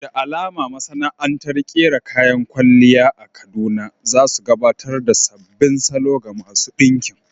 Da alama masana'antar ƙera kayan kwalliya a Kaduna za su gabatar ta sabbin salo ga masu ɗinkin.